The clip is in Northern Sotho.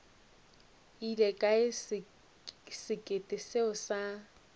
ile kae sekete seo sa